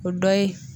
O dɔ ye